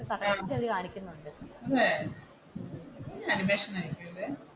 അതെ അതെ ഇത് അനിമേഷൻ ആയിരിക്കുമല്ലേ?